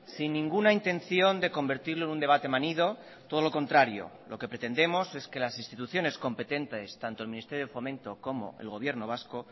sin ninguna intención de convertirlo en un debate manido todo lo contrario lo que pretendemos es que las instituciones competentes tanto el ministerio de fomento como el gobierno vasco